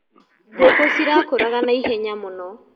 Ngũkũ cirakũraga na ihenya mũno.